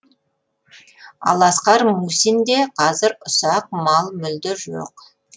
ал асқар мусинде қазір ұсақ мал мүлде жоқ